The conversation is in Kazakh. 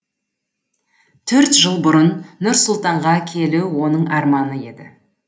төрт жыл бұрын нұр сұлтанға келу оның арманы еді